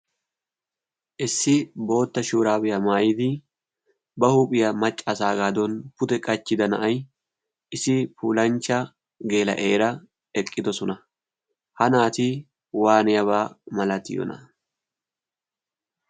issi bootta shuuraabiyaa maayidi ba huuphiyaa maccaasaa gaadon pute qachchida na'ay isi pulanchcha geela eera eqqidosona ha naati waaniyaabaa malatiyoona?